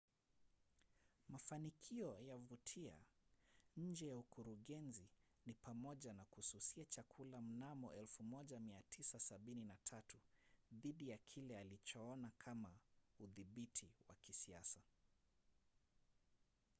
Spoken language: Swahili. mafanikio ya vautier nje ya ukurugenzi ni pamoja na kususia chakula mnamo 1973 dhidi ya kile alichoona kama udhibiti wa kisiasa